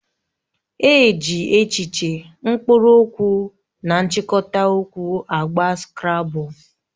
E ji echiche, mkpụrụ okwu na nchikota okwu agba skrabul